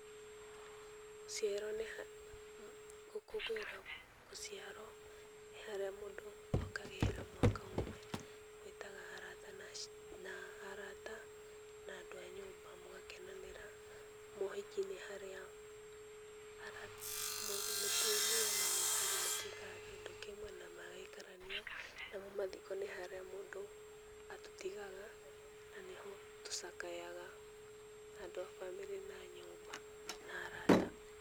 Gũciarwo nĩha gũkũngũĩra gũciarwo nĩ harĩa mũndũ ongagĩrĩra mwaka ũmwe, gwĩtaga arata na andũ a nyũmba mũgakenanĩra, mohiki nĩ harĩa ara mũtumia na mũthuri matuĩkaga kĩndũ kĩmwe na magaikarania, namo mathiko nĩ harĩa mũndũ atũtigaga, na nĩho tũcakayaga andũ a bamĩrĩ na a nyũmba na arata.